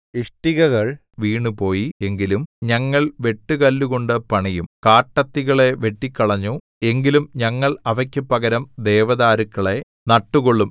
ഇഷ്ടികകൾ വീണുപോയി എങ്കിലും ഞങ്ങൾ വെട്ടുകല്ലുകൊണ്ടു പണിയും കാട്ടത്തികളെ വെട്ടിക്കളഞ്ഞു എങ്കിലും ഞങ്ങൾ അവയ്ക്കു പകരം ദേവദാരുക്കളെ നട്ടുകൊള്ളും